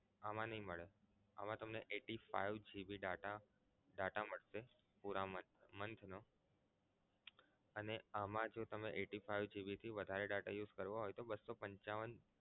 આમા નહીં મળે આમા તમને eighty five GB data data મળશે પૂરા month નો અને આમા જો તમે eighty five GB થી વધારે data use કરવો હોય તો બસો પંચાવન